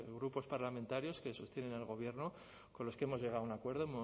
grupos parlamentarios que sostienen al gobierno con los que hemos llegado a un acuerdo